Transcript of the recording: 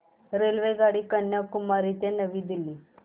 रेल्वेगाडी कन्याकुमारी ते नवी दिल्ली